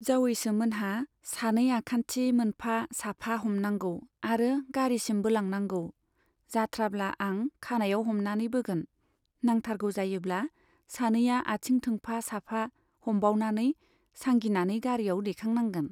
जावैसोमोनहा सानै आखान्थि मोनफा साफा हमनांगौ आरो गारिसिम बोलांनांगौ , जाथ्राब्ला आं खानाइयाव हमनानै बोगोन, नांथारगौ जायोब्ला सानैया आथिं थोंफा साफा हमबावनानै सांगिनानै गारियाव दैखां नांगोन।